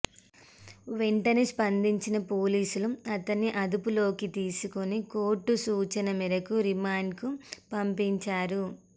వెంటనే స్పందించిన పోలీసులు అతన్ని అదుపులోకి తీసుకుని కోర్టు సూచన మేరకు రిమాండ్కు పంపించారు